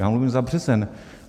Já mluvím za březen.